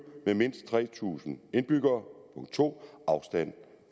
med mindst tre tusind indbyggere og 2 afstand